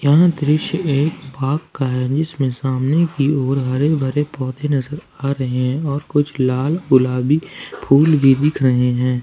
यह दृश्य एक बाग का है जिसमें सामने की ओर हरे भरे पौधे नजर आ रहे हैं और कुछ लाल गुलाबी फूल भी दिख रहे हैं।